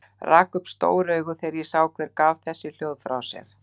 Rak upp stór augu þegar ég sá hver gaf þessi hljóð frá sér.